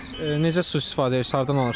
Bəs necə su istifadə edirsiz, hardan alırsız?